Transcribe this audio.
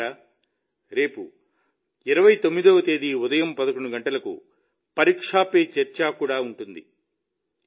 మిత్రులారా రేపు 29వ తేదీ ఉదయం 11 గంటలకు పరీక్షా పే చర్చా కూడా ఉంటుంది